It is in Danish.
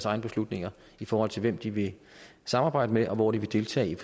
egne beslutninger i forhold til hvem de vil samarbejde med og hvor de vil deltage